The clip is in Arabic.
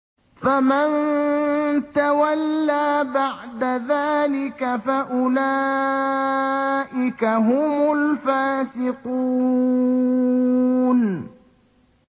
فَمَن تَوَلَّىٰ بَعْدَ ذَٰلِكَ فَأُولَٰئِكَ هُمُ الْفَاسِقُونَ